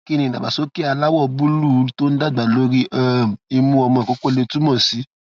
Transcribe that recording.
kí ni idagbasoke aláwọ búlúù tó ń dàgbà lórí um imu omo koko lè túmọ sí